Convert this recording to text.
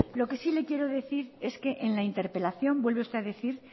lo que sí le quiero decir es que en la interpelación vuelve usted a decir